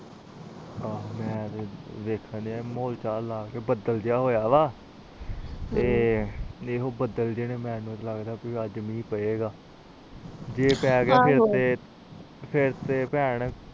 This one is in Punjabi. ਆਹੋ ਤੇ ਮੈਂ ਦੇਖਣ ਦੁਇਆ ਆ ਬਾਦਲ ਜਾ ਹੋਇਆ ਆ ਲੱਗਦਾ ਮਹਿ ਪਏਗਾ ਜੇ ਪੈ ਗਿ ਫੇਰ ਤੇ ਫੇਰ ਤੇ ਭੈਣ